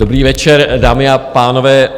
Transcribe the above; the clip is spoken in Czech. Dobrý večer, dámy a pánové.